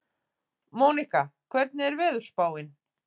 Mónika, hvernig er veðurspáin?